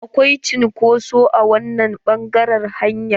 Akwai cunkoso a wannan ɓangaren hanyar.